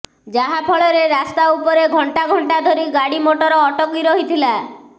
ଯାହା ଫଳରେ ରାସ୍ତା ଉପରେ ଘଂଟା ଘଂଟା ଧରି ଗାଡି ମଟର ଅଟକି ରହିଥିଲା